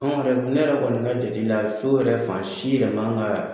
An yɛrɛ ne yɛrɛ kɔni ka jate la so yɛrɛ fan si yɛrɛ man ka